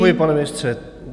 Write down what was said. Děkuji, pane ministře.